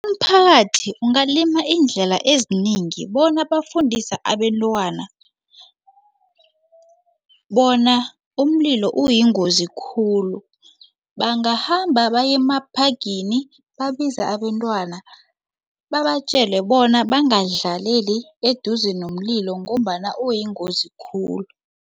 Umphakathi ungalima iindlela ezinengi bona bafundise abentwana bona umlilo uyingozi khulu bangahamba bayemaphagini babize abentwana babatjele bona bangadlaleli eduze nomlilo ngombana uyingozi khulu.